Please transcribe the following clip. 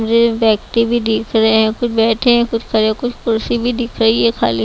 मुझे व्यक्ति भी दिख रहे हैं कुछ बैठे हैं कुछ खड़े कुछ कुर्सी भी दिख रही है खाली।